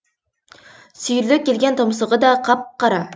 сүйірлеу келген тұмсығы да қап қара